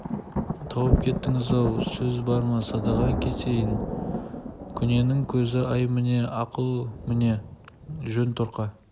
тауып кеттіңіз-ау сөз бар ма садағаң кетейін көненің көзі-ай міне ақыл міне жөн торқа